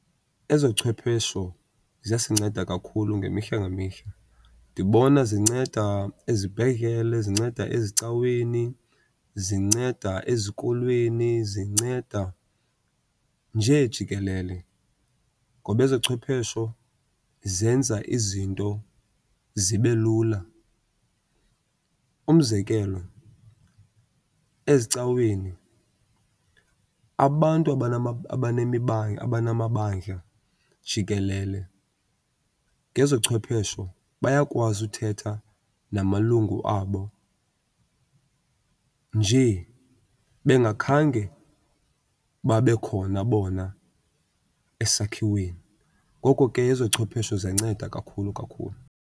Ezochwephesho ziyasinceda kakhulu ngemihla ngemihla. Ndibona zinceda ezibhedlele, zinceda ezicaweni, zinceda ezikolweni, zinceda nje jikelele ngoba ezochwephesho zenza izinto zibe lula. Umzekelo, ezicaweni abantu abanamabandla jikelele ngezochwephesho bayakwazi uthetha namalungu abo njee bengakhange babe khona bona esakhiweni. Ngoko ke ezochwephesho ziyanceda kakhulu kakhulu.